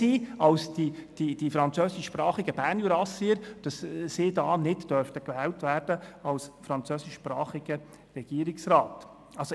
Sie gehören doch zu einer Minderheit und wenn man sie aufteilt, sind sie noch mehr als die französischsprachigen Bernjurassier.